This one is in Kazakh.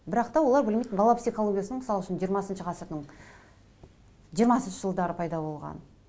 бірақ та олар білмейді бала психологиясының мысал үшін жиырмасыншы ғасырдың жиырмасыншы жылдары пайда болғанын